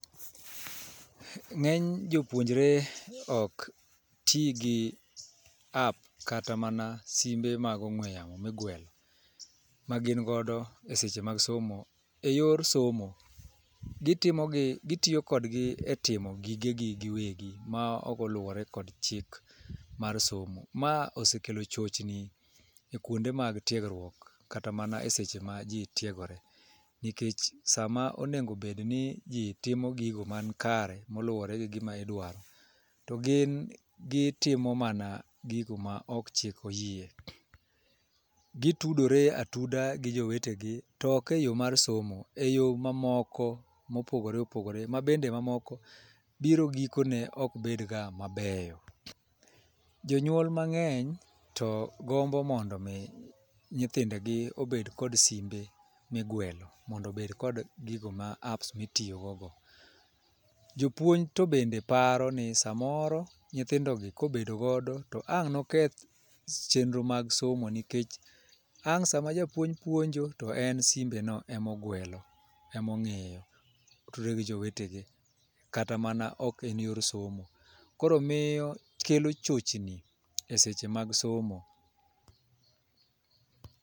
Ng'eny jopuonjre ok tii gi pap kata mana simbe mag ong'we yamo migwelo ma gin godo eseche mag somo e yor somo. Gitimo gi gitiyo kodgi e timo gige gi giwegi ma ok oluwore kod chik mar somo .Ma osekelo chochni e kuonde mag tiegruok kata mana eseche ma jii tiegore nikech, sama onego bed ni jii timo gigo man kare moluwore gi gigo ma idwaro to gin gitimo mana gigo ma ok chik oyie .Gitudore atuda gi jowetegi tok eyoo mar somo, e yoo mamoko mopogore opogore ma bende mamoko biro gikone ok bed ga mabeyo. Jonyuol mang'eny to gombo mondo mi nyithindegi obed kod simbe migwelo mondo obed kod gigo ma apps mitiyo go go. Jopuonj to bende paro ni samoro nyithindo gi kobedo godo to ang' noketh chenro mar somo nikech ang' sama japuonj puonjo, to en simbe no emogwelo emong'iyo otudore gi jowetegi kata mana ok en yor somo. Koro miyo kelo chochni e seche mag somo.